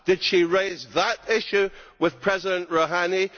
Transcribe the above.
Did she raise that issue with President Rouhani?